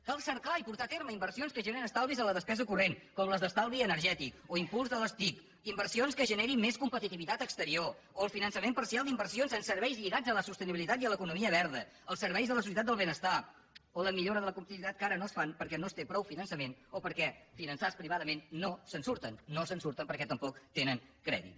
cal cercar i portar a terme inversions que generin estalvis en la despesa corrent com les d’estalvi energètic o impuls de les tic inversions que generin més competitivitat exterior o el finançament parcial d’inversions en serveis lligats a la sostenibilitat i a l’ economia verda als serveis de la societat del benestar o a la millora de la competitivitat que ara no es fan perquè no es té prou finançament o perquè finançats privadament no se’n surten no se’n surten perquè tampoc tenen crèdit